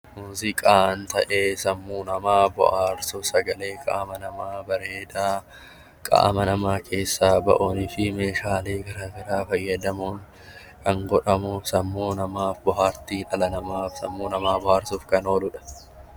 Muuziqaan ta'ee sammuu namaa bohaarsuu kanneen qaama namaa bareedaa, qaama namaa keessaa bahuuni fi meeshaalee garaa garaa fayyadamuun kan godhamuuf sammuu namaaf bohaartii dhala namaaf sammuu namaa bohaarsuuf kan ooludha.